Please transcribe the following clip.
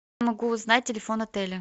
могу узнать телефон отеля